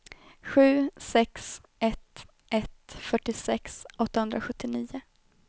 sju sex ett ett fyrtiosex åttahundrasjuttionio